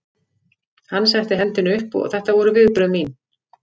Hann setti hendina upp og þetta voru viðbrögð mín.